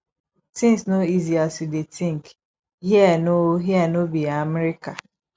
things no easy as you dey think here no here no be america